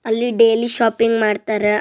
ಅಲ್ಲಿ daily shopping ಮಾಡ್ತಾರ.